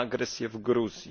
na agresję w Gruzji.